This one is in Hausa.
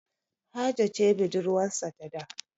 Hajo ce budurwarsa da.